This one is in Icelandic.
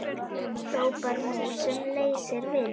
hrópar mús sem leysir vind.